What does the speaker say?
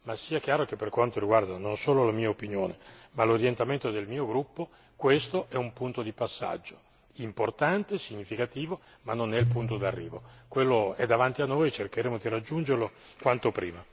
Per intanto accontentiamoci di questo primo passo in avanti, ma sia chiaro che per quanto riguarda non solo la mia opinione ma l'orientamento del mio gruppo, questo è un punto di passaggio importante, significativo ma non è il punto di arrivo.